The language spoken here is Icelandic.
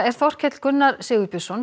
Þorkell Gunnar Sigurbjörnsson